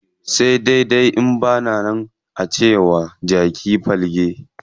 Sai dai in bama nan, ance wa jaki falke zai shiga aljanna.